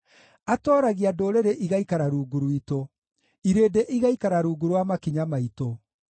Atooragia ndũrĩrĩ igaikara rungu rwitũ, irĩndĩ igaikara rungu rwa makinya maitũ.